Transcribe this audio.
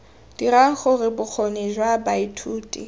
dirang gore bokgoni jwa baithuti